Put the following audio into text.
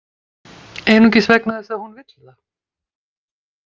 Einungis vegna þess að hún vill það.